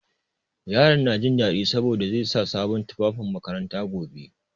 Yaron na jin daɗi saboda zai sa sabon tufafin makaranta gobe.